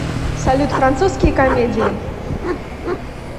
салют французские комедии